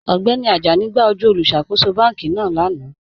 Ọgbẹ́ni Àjánì gbà ojú olùṣákòsò bánkì náà lánà.